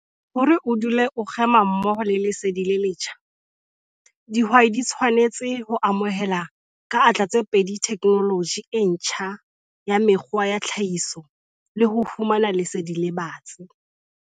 Hore o dule o kgema mmoho le lesedi le letjha, dihwai di tshwanetse ho amohela ka atla tse pedi theknoloji e ntjha ya mekgwa ya tlhahiso le ho fumana lesedi le batsi.